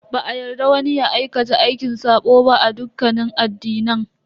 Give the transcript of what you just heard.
Ba a yarda wani ya aikata aikin sabo ba a dukkanin addinan.